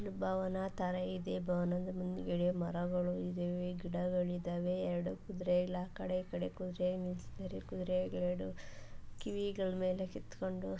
ಭವನ ತರ ಇದೆ ಭವನದ ಮುಂದುಗಡೆ ಮರಗಳು ಇದವೆ ಗಿಡಗಳು ಇದವೆ ಎರೆಡು ಕುದುರೆ ಎಲ್ಲ ಆಕಡೆ ಈಕಡೆ ಕುದುರೆಯನ್ನ ನಿಲ್ಲಿಸಿದರೆ ಕುದುರೆಯ ಎರಡು ಕಿವಿಗಳ ಮೇಲೆ ಕಿತ್ತುಕೊಂಡು.